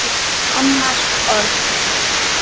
Hennar orð.